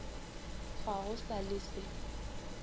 ga go sa le se